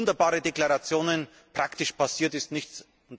Wunderbare Deklarationen praktisch passiert ist nichts!